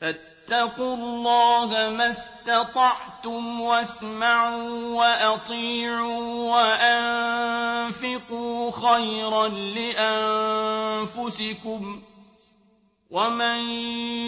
فَاتَّقُوا اللَّهَ مَا اسْتَطَعْتُمْ وَاسْمَعُوا وَأَطِيعُوا وَأَنفِقُوا خَيْرًا لِّأَنفُسِكُمْ ۗ وَمَن